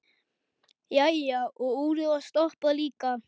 Jæja, og úrið var stoppað líka.